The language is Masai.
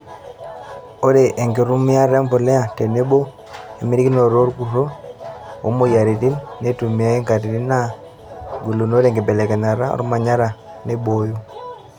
Ore enkitumiata empuliya tenebo emitikinoto orkurto oo moyiariti, neitumiyay ntokitin naa gilinore enkibekenyata ormanyara neeiboyo.